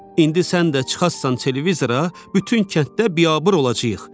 İndi sən də çıxasan televizora, bütün kənddə biabır olacağıq.